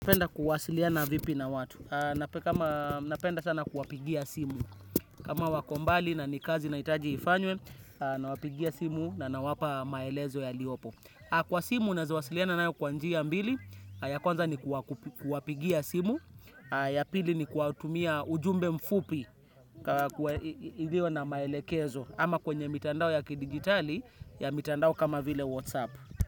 Napenda kuwasiliana vipi na watu. Napenda sana kuwapigia simu. Kama wako mbali na ni kazi naitaji ifanywe, nawapigia simu na nawapa maelezo yaliopo. Kwa simu, naeza wasiliana nayo kwa njia mbili, ya kwanza ni kuwapigia simu, ya pili ni kuwatumia ujumbe mfupi, ilo na maelekezo, ama kwenye mitandao ya kidigitali, ya mitandao kama vile WhatsApp.